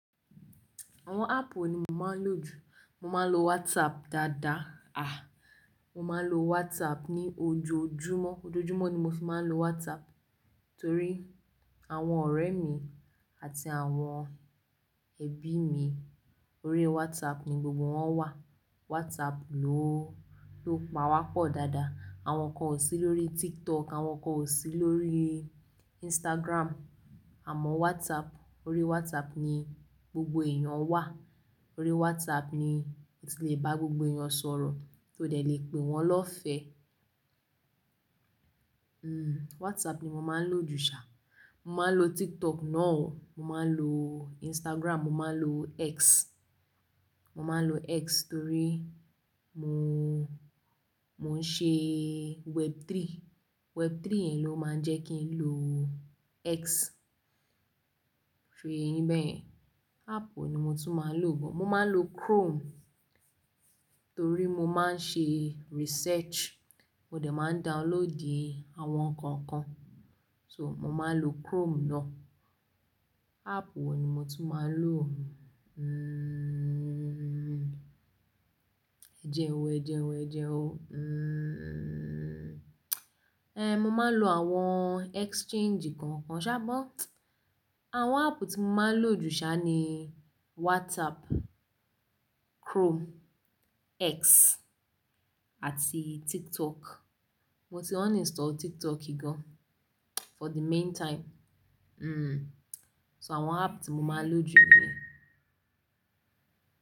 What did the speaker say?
Àwọn app wo ni mo máa ń lò jù? Mo máa ń lo WhatsApp dáadáa. Ah! Mo máa ń lo WhatsApp ní ojoojúmọ́. Ojoojúmọ́ ni mo fi máa ń lo WhatsApp torí àwọn ọ̀rẹ́ mi àti àwọn ẹbí mi orí WhatsApp ni gbogbo wọn wà. WhatsApp ló, ló pa wá pọ̀ dáadáa. Àwọn kan ò sí lórí TikTok, àwọn kan ò sí lórí Instagram, àmọ́ WhatsApp, orí WhatsApp ni gbogbo èèyàn wà. Orí WhatsApp ni o ti le bá gbogbo èèyàn sọ̀rọ̀, tí o dẹ̀ le pè wọ́n lọ́fẹ̀ẹ́. Hmm, WhatsApp ni mo máa ń lò jù ṣá. Mo máa ń lo TikTok náà o, mo máa ń lo Instagram, mo máa ń lo X. Mo máa ń lo X torí mo, mo ń ṣe Web3. Web3 yẹn ló máa ń jẹ́ kí n lo X. Ṣo yẹ yìn bẹ́yẹn? App wo ni mo tún máa ń lò bọ̀? Mo máa ń lo Chrome torí mo máa ń ṣe research. Mo dẹ̀ máa ń downloadì àwọn nǹkan kan. So, mo máa ń lo Chrome náà. App wo ni mo tún máa ń lò? Ẹjẹ́ ń wo, ẹjẹ́ ń wo, ẹjẹ́ ń wo, ẹe mo máa ń lo àwọn exchange kọ̀ọ̀kan ṣá but àwọn app tí mo máa ń lò jù ṣá ni WhatsApp, Chrome, X àti TikTok. Mo ti uninstall TikTok gan for the meantime. So àwọn app tí mo máa ń lò jù ni.